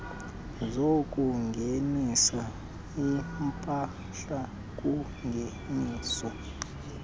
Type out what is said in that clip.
zokungenisa iimpahla kungeniso